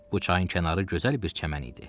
Bu çayın kənarı gözəl bir çəmən idi.